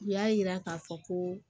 U y'a yira k'a fɔ ko